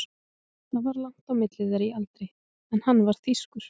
Það var langt á milli þeirra í aldri en hann var þýskur.